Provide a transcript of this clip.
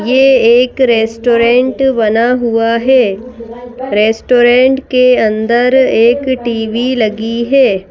ये एक रेस्टोरेंट बना हुआ है रेस्टोरेंट के अंदर एक टी_वी लगी है।